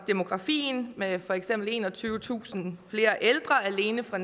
demografien med for eksempel enogtyvetusind flere ældre alene fra